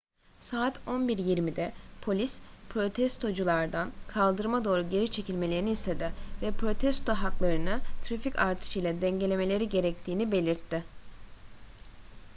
saat 11:20'de polis protestoculardan kaldırıma doğru geri çekilmelerini istedi ve protesto haklarını trafik artışıyla dengelemeleri gerektiğini belirtti